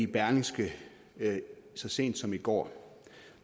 berlingske så sent som i går